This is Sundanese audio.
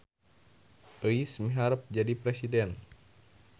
Euis miharep jadi presiden